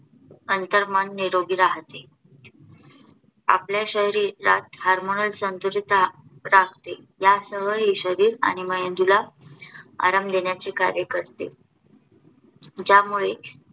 अंतरमन निरोगी राहते. आपल्या शरीरात HARMONAL संतुलित राखते यासह हे शरीराला आणि मेंदूला आराम देण्याचे कार्य करते. ज्यामुळे